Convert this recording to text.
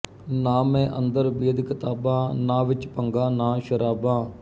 ਨਾ ਮੈਂ ਅੰਦਰ ਬੇਦ ਕਿਤਾਬਾਂ ਨਾ ਵਿਚ ਭੰਗਾਂ ਨਾ ਸ਼ਰਾਬਾਂ